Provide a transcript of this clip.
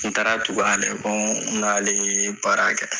taara tugu ale n n'ale ye baara kɛ.